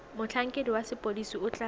motlhankedi wa sepodisi o tla